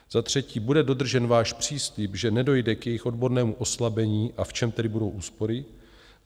Za třetí, bude dodržen váš příslib, že nedojde k jejich odbornému oslabení, a v čem tedy budou úspory?